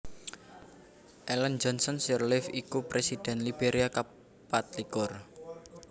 Ellen Johnson Sirleaf iku Présidhèn Liberia kapatlikur